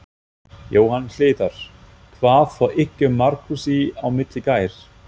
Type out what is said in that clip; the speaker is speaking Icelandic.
Jóhann Hlíðar: Hvað fór ykkur Markúsi á milli í gær?